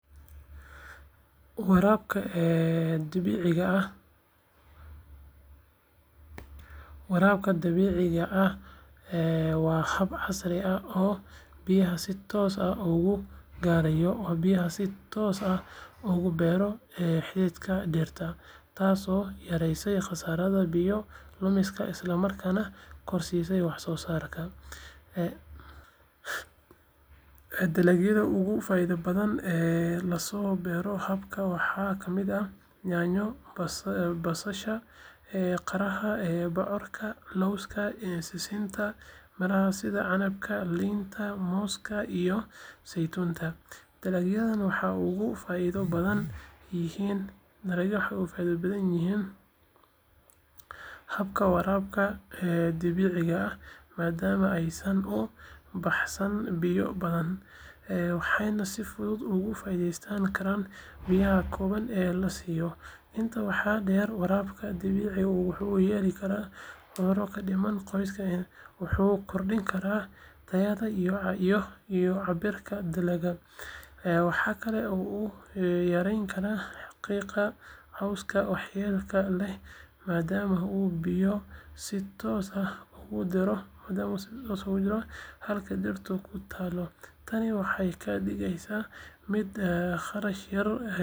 Waraabka dhibicda waa hab casri ah oo biyaha si toos ah ugula beero xididka dhirta, taasoo yareysa khasaaraha biyo lumiska isla markaana kordhisa waxsoosaarka. Dalagyada ugu faa’iidada badan ee laga beero habkan waxaa ka mid ah yaanyo, basasha, qaraha, bocorka, lawska, sisinta, miraha sida canabka, liinta, mooska iyo saytuunka. Dalagyadan waxay uga faa’iido badan yihiin habka waraabka dhibicda maadaama aysan u baahnayn biyo badan, waxayna si fudud uga faa’iideysan karaan biyaha kooban ee la siiyo. Intaa waxaa dheer, waraabka dhibicda wuxuu yareeyaa cudurrada ka dhasha qoyaan badan, wuxuuna kordhiyaa tayada iyo cabbirka dalagga. Waxaa kale oo uu yaraynayaa xiiqda cawska waxyeelada leh maadaama uu biyo si toos ah ugu diro halka dhirtu ku taal. Tani waxay ka dhigeysaa mid kharash yar, waxtar badan leh oo ku habboon beeraleyda doonaya inay helaan dalagyo tayo leh oo badan iyadoo aan biyo badan la isticmaalin.